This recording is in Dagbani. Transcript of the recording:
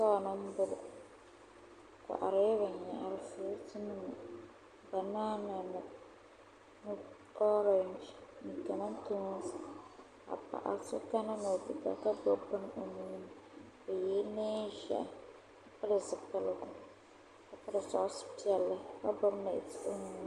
Shitɔɣu ni m-bɔŋɔ bikɔhirila binyara furuutinima banana ni ɔrengi ni kamantoonsi ka paɣ' so kana ni o ti da ka gbubi bini o nuuni o yela neen' ʒehi ka pili zipiligu ka piri sɔɣis' piɛla ka gbubi nɛti o nuuni